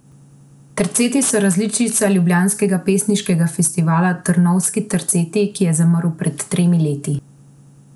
Terceti so različica ljubljanskega pesniškega festivala Trnovski terceti, ki je zamrl pred tremi leti.